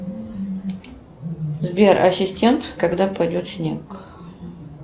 сбер ассистент когда пойдет снег